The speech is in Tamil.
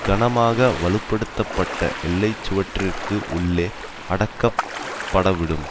கனமாக வலுப்படுத்தப்பட்ட எல்லை சுவற்றிற்கு உள்ளே அடக்கப்படவிடும்